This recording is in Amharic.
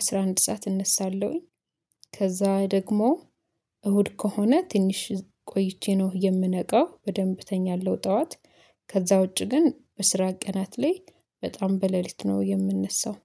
አስራ አንድ ሰዓት እነሳለሁኝ። ከዛ ደግሞ እሁድ ከሆነ ትንሽ ቆይቼ ነው የምነቃው በደንብ እተኛለሁ ጠዋት። ከዛ ውጪ ግን በስራ ቀናት ላይ በጣም በሌሊት ነው የምንሰው